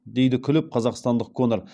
дейді күліп қазақстандық конор